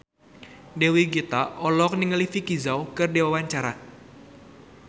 Dewi Gita olohok ningali Vicki Zao keur diwawancara